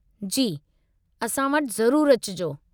जी, असां वटि ज़रूरु अचिजो।